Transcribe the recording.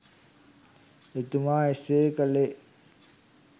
එතුමා එසේ කළේ